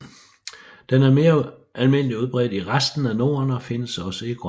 Den er mere almindeligt udbredt i resten af Norden og findes også i Grønland